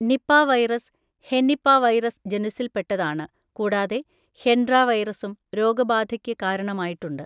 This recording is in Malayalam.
നിപാ വൈറസ്, ഹെനിപാവൈറസ് ജനുസ്സിൽ പെട്ടതാണ്, കൂടാതെ ഹെൻഡ്ര വൈറസും രോഗബാധയ്ക്ക് കാരണമായിട്ടുണ്ട്.